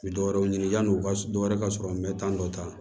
Bɛ dɔ wɛrɛw ɲini yan'o ka dɔ wɛrɛ ka sɔrɔ n bɛ taa dɔ ta